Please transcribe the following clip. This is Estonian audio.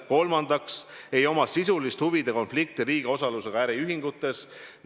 Kolmandaks, ta ei oma sisulist huvide konflikti riigi osalusega äriühingutes.